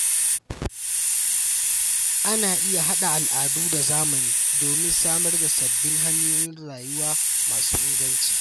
Ana iya haɗa al’adu da zamani domin samar da sabbin hanyoyin rayuwa masu inganci.